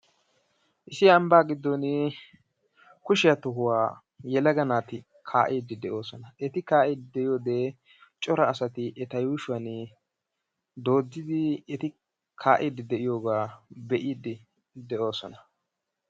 Issi ambba gidon kushiya tohuwa yelagga naati kaa'idi de'osonna, etti kaa'id de'yode cora asatti etta yuushuwa doodidi etti kaa'id de'iyogga be'iddi doossona.